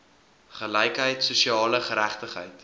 gelykheid sosiale geregtigheid